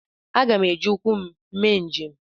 M ga-eji ụkwụ m mee njem.